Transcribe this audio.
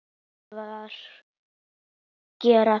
Helga: Hvað gera þeir?